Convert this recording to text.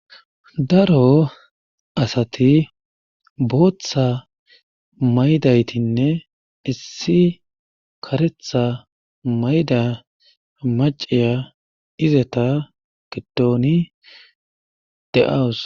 Daro asati booththa maydaytinne issi karetha mayda maciya izeta gedooni de'awus.